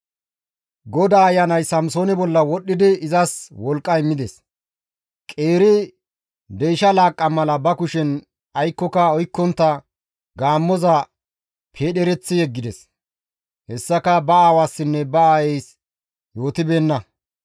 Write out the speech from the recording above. GODAA Ayanay Samsoone bolla wodhdhidi izas wolqqa immides; qeeri deysha laaqqa mala ba kushen aykkoka oykkontta gaammoza peedhereththi yeggides. Hessaka ba aawassinne ba aayeys yootibeenna.